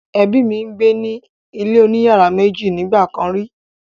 Ẹbí mi gbé ní ilé oní yàrá méjì nígbà kàn rí.